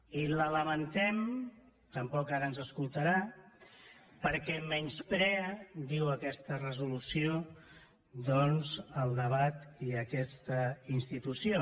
i la lamentem tampoc ara ens escoltarà perquè menysprea diu aquesta resolució el debat i aquesta institució